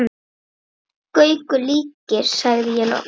Gaukur líkir, sagði ég loks.